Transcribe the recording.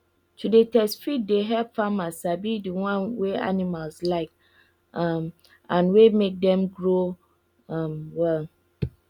to dey test feed dey help farmer sabi the one wey animals like um and wey make dem grow um well